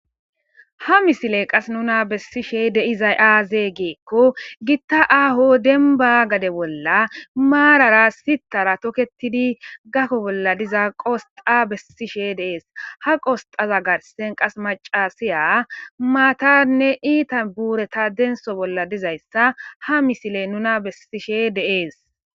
ha misile qas nuna bessishe deizay aazee geekko gitta aaho denba gade bolla maarara sitara toketidi gakko bolla diza qosxa bessishe deees ha qosxaza garsen qas macasiya maatanne iita buureta denso bolla dizayssa ha misile nuna bessishe deees